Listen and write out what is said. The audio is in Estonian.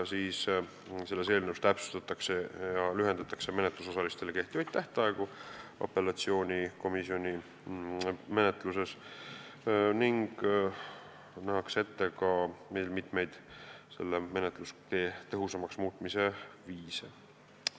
Eelnõus ka täpsustatakse ja lühendatakse menetlusosaliste kohta kehtivaid tähtaegu apellatsioonikomisjoni menetluses ning nähakse ette veel mitmeid menetluse tõhusamaks muutmise viise.